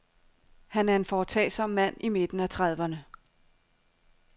Han er en foretagsom mand i midten af trediverne.